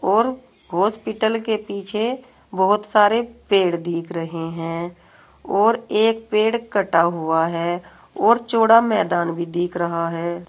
और हॉस्पिटल के पीछे बहुत सारे पेड़ दिख रहे हैं और एक पेड़ कटा हुआ है और चौड़ा मैदान भी देख रहा है।